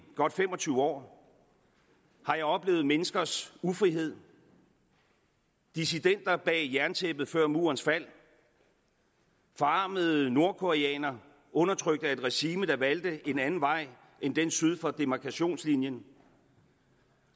godt fem og tyve år har jeg oplevet menneskers ufrihed dissidenter bag jerntæppet før murens fald forarmede nordkoreanere undertrykt af et regime der valgte en anden vej end den syd for demarkationslinjen